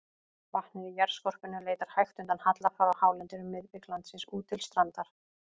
Vatnið í jarðskorpunni leitar hægt undan halla frá hálendinu um miðbik landsins út til strandar.